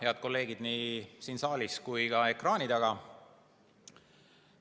Head kolleegid nii siin saalis kui ka ekraani taga!